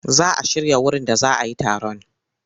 Za a shirya wurin da za a yi taron.